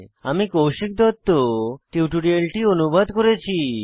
আমি কৌশিক দত্ত টিউটোরিয়ালটি অনুবাদ করেছি